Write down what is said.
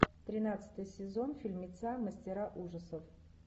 тринадцатый сезон фильмеца мастера ужасов